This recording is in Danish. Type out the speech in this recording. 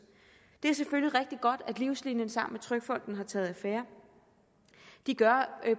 det er selvfølgelig rigtig godt at livslinien sammen med trygfonden har taget affære de gør